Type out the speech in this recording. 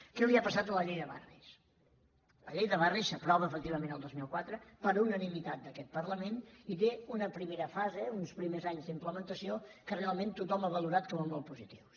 què li ha passat a la llei de barris la llei de barris s’aprova efectivament el dos mil quatre per unanimitat d’aquest parlament i té una primera fase uns primers anys d’implementació que realment tothom ha valorat com a molt positius